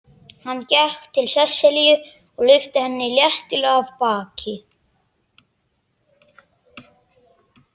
Hann gekk til Sesselju og lyfti henni léttilega af baki.